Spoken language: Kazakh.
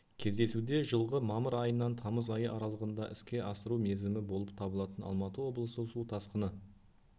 кездесуде жылғы мамыр айынан тамыз айы аралығында іске асыру мерзімі болып табылатын алматы облысы су тасқыны